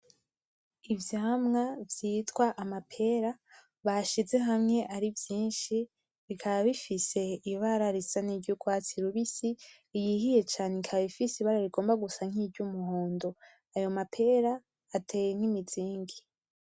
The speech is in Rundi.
Ivyamwo vyitwa amapera bashize hamwe ari vyinshi bikaba bifise ibara risa niry'urwatsi rubisi, iyihiye cane ikaba ifise ibara rigomba gusa niry'umohondo, ayo mapera ateye nk'imizingi.